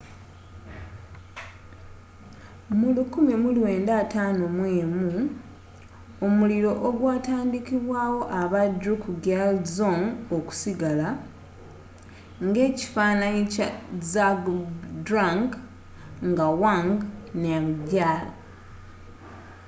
mu 1951 omuliro ogwatandikibwawo aba drukgyal dzong okusigala ng'ekifaananyi kya zhabdrung ngawang namgyal